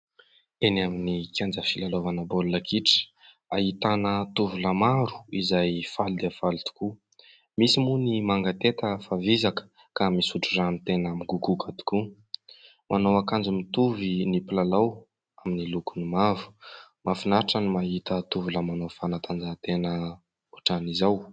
Eny amin'ny kianja filalaovana baolina kitra, ahitana tovolahy maro izay faly dia faly tokoa. Misy moa ny mangetaheta fa vizaka ka misotro rano tena migogoka tokoa. Manao akanjo mitovy ny mpilalao amin'ny lokony mavo. Mahafinaritra ny mahita tovolahy manao fanatanjahan-tena ohatran'izao.